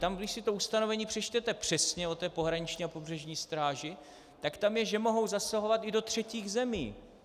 Tam když si to ustanovení přečtete přesně o té pohraniční a pobřežní stráži, tak tam je, že mohou zasahovat i do třetích zemí.